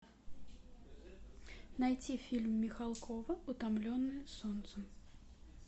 найти фильм михалкова утомленные солнцем